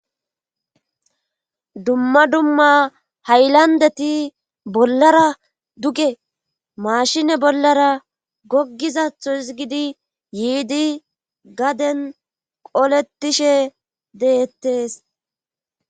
Dumma dumma haylandeti bollara duge maashine bollara goggizatho hizgidi yiidi gaden qoletishe deettees.